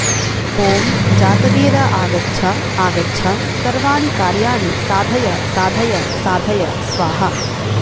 ॐ जातवेदा आगच्छ आगच्छ सर्वाणि कार्याणि साधय साधय साधय स्वाहा